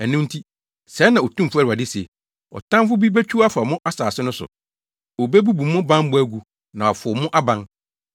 Ɛno nti, sɛɛ na Otumfo Awurade se, “Ɔtamfo bi betwiw afa mo asase no so; Obebubu mo bammɔ agu, na wɔafow mo aban.”